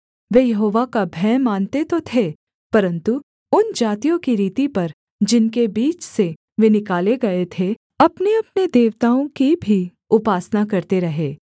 वे Jehovah का भय मानते तो थे परन्तु उन जातियों की रीति पर जिनके बीच से वे निकाले गए थे अपनेअपने देवताओं की भी उपासना करते रहे